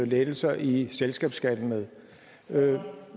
lettelser i selskabsskatten med